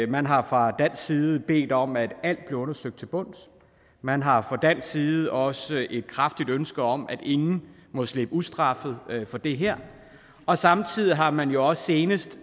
man har fra dansk side bedt om at alt blev undersøgt til bunds man har fra dansk side også et kraftigt ønske om at ingen må slippe ustraffet fra det her og samtidig har man jo også senest